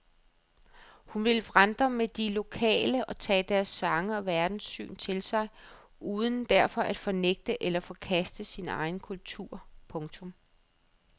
Hun vill vandre med de lokale og tage deres sange og verdenssyn til sig uden derfor at fornægte eller forkaste sin egen kultur. punktum